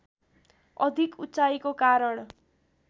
अधिक उचाइको कारण